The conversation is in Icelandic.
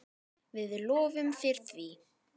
Við lofum þér því.